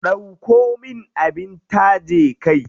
Ɗauko min abin taje kai.